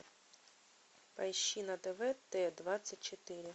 поищи на тв т двадцать четыре